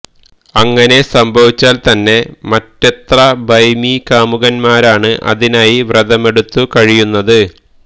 അങ്ങനെ സംഭവിച്ചാല് തന്നെ മറ്റെത്ര ഭൈമീകാമുകന്മാരാണ് അതിനായി വ്രതമെടുത്തു കഴിയുന്നത്